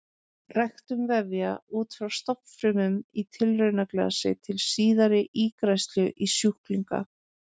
Ræktun vefja út frá stofnfrumum í tilraunaglasi til síðari ígræðslu í sjúklinga.